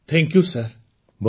thank you sir